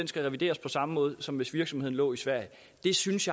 skal revideres på samme måde som hvis virksomheden lå i sverige jeg synes